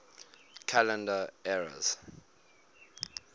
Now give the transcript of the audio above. calendar eras